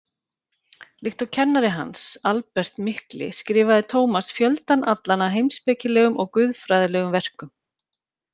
Líkt og kennari hans, Albert mikli, skrifaði Tómas fjöldann allan af heimspekilegum og guðfræðilegum verkum.